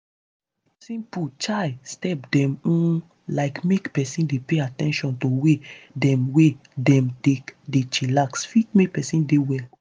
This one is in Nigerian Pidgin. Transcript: simple chai step dem um like make peson dey pay at ten tion to way dem wey dem take dey chillax fit make peson dey well.